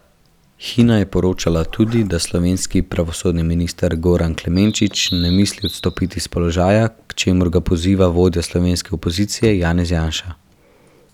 Hina je poročala tudi, da slovenski pravosodni minister Goran Klemenčič ne misli odstopiti s položaja, k čemur ga poziva vodja slovenske opozicije Janez Janša.